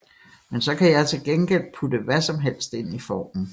Men så kan jeg til gengæld putte hvad som helst ind i formen